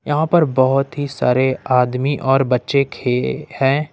यहां पर बहुत ही सारे आदमी और बच्चे खे अ है।